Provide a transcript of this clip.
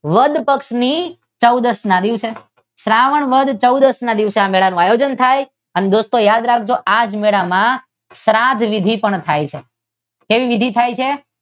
વદ પક્ષ ની ચૌદશ ના દિવસે શ્રાવણ વદ ચૌદશ ના દિવસે મેળાનું આયોજન થાય અને દોસ્તો યાદ રાખજો આ મેળામાં શ્રાદ વિધી પણ થાય છે. કેવી વિધી થાય છે?